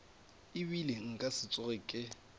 ebile nka se tsoge ke